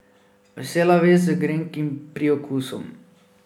Vesela vest z grenkim priokusom.